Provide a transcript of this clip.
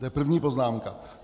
To je první poznámka.